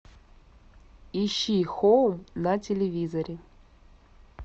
ищи хоум на телевизоре